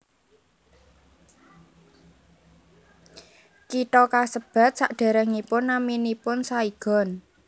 Kitha kasebat sadèrèngipun naminipun Saigon